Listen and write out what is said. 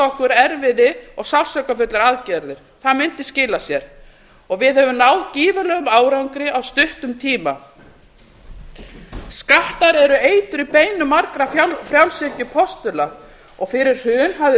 okkur erfiði og sársaukafullar aðgerðir það mundi skila sér við höfum náð gífurlegum árangri á stuttum tíma skattar eru eitur í beinum margra frjálshyggjupostula fyrir hrun hafði